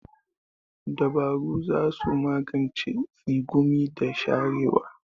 Dabarun za su magance tsegumi da sharewa.